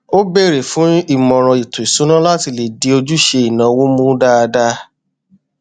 ó bèrè fún ìmọràn ètò ìṣúná láti lè di ojúṣe ìnáwó mú dáadáa